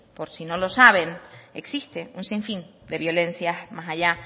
por si no lo saben existe un sinfín de violencias más allá